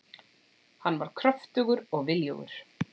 Hann var kröftugur og viljugur.